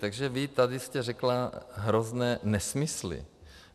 Takže vy jste tady řekla hrozné nesmysly.